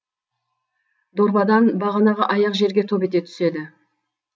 дорбадан бағанағы аяқ жерге топ ете түседі